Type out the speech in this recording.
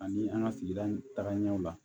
Ani an ka sigi tagaɲɛw la